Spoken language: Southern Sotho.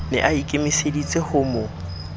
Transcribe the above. ne a ikemeseditse ho mo